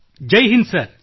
Jai Hind sir